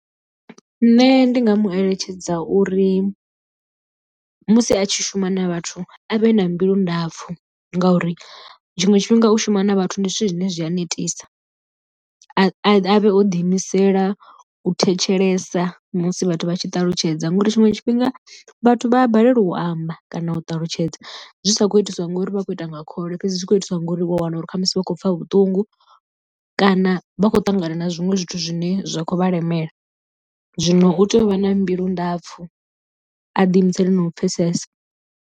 Nṋe ndi nga mu eletshedza uri musi a tshi shuma na vhathu a vhe na mbilu ndapfu ngauri tshiṅwe tshifhinga u shuma na vhathu ndi zwithu zwine zwi a netisa, a vhe o ḓi imisela u thetshelesa musi vhathu vha tshi ṱalutshedza ngori tshiṅwe tshifhinga vhathu vha a balelwa u amba kana u ṱalutshedza zwi sa khou itiswa ngori vha khou ita nga khole fhedzi zwi tshi khou itiswa ngori wa wana uri khamusi vha khou pfha vhuṱungu kana vha khou ṱangana na zwiṅwe zwithu zwine zwa khou vha lemela zwino u tea u vha na mbilu ndapfu a ḓi imisele na u pfhesesa.